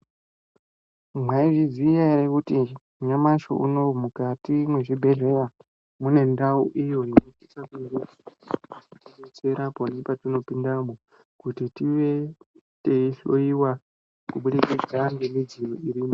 Mwaizviziya here kuti nyamashi unowu mukati mwezvibhehleya mune ndau iyo inosise kunge yeitidetsera pona patinopindamo kuti tive teihloyiwa kuburikidza ngemidziyo irimwo.